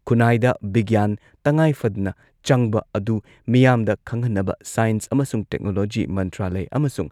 ꯈꯨꯟꯅꯥꯏꯗ ꯕꯤꯒ꯭ꯌꯥꯟ ꯇꯉꯥꯏꯐꯗꯅ ꯆꯪꯕ ꯑꯗꯨ ꯃꯤꯌꯥꯝꯗ ꯈꯪꯍꯟꯅꯕ ꯁꯥꯏꯟꯁ ꯑꯃꯁꯨꯡ ꯇꯦꯛꯅꯣꯂꯣꯖꯤ ꯃꯟꯇ꯭ꯔꯥꯂꯢ ꯑꯃꯁꯨꯡ